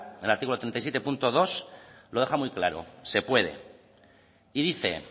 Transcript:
relativo al treinta y siete punto dos lo deja muy claro se puede y dice